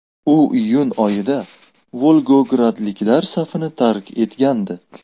U iyun oyida volgogradliklar safini tark etgandi .